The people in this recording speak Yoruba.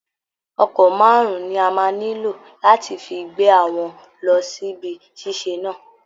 Ọkọ̀ márùn-ún ni a máa nílò láti fi gbé àwọn lọ síbi ṣíṣe náà